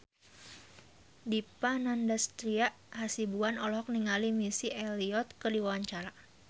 Dipa Nandastyra Hasibuan olohok ningali Missy Elliott keur diwawancara